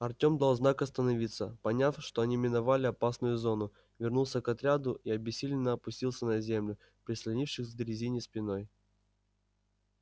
артем дал знак остановиться поняв что они миновали опасную зону вернулся к отряду и обессиленно опустился на землю прислонившись к дрезине спиной